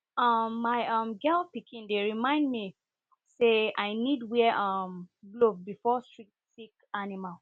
um my um girl pikin dey remind me remind me say i need wear um glove before